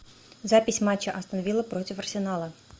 запись матча астон вилла против арсенала